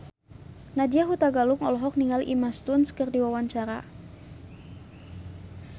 Nadya Hutagalung olohok ningali Emma Stone keur diwawancara